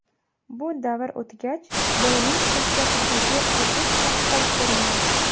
Bu davr o‘tgach, bolaning shaxsiyatidagi o‘sish yaqqol ko‘rinadi.